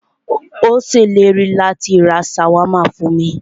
Ó ṣèlérí láti rá ṣàwámà fún mí.